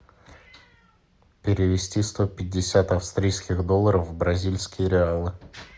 перевести сто пятьдесят австрийских долларов в бразильские реалы